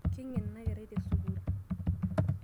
Keingen ena kerai tesukuul.